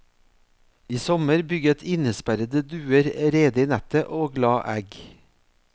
I sommer bygget innesperrede duer rede i nettet og la egg.